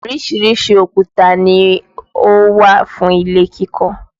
Oríṣiríṣi òkúta ni ó wà fún ilé kíkọ́